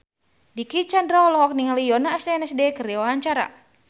Dicky Chandra olohok ningali Yoona SNSD keur diwawancara